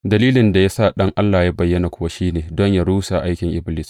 Dalilin da ya sa Ɗan Allah ya bayyana kuwa shi ne don yă rushe aikin Iblis.